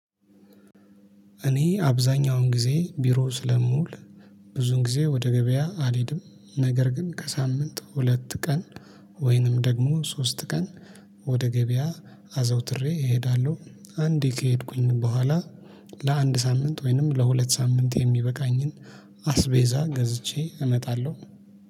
እኔ አብዛኛውን ጊዜ ቢሮ ስለምውል። ብዙን ጊዜ ወደ ገበያ አልሄድም ነገር ግን ከሳምንት ሁለት ቀን ወይንም ደግሞ ሶስት ቀን ወደ ገበያ አዘውትሬ እሄዳለሁ። አንዴ ከሄድኩኝ በኋላ ለአንድ ሳምንት ወይንም ለሁለት ሳምንት የሚበቃኝን አስቤዛ ገዝቼ እመጣለሁ